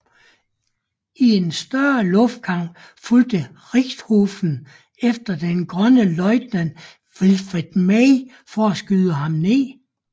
I en større luftkamp fulgte Richthofen efter den grønne løjtnant Wilfrid May for at skyde ham ned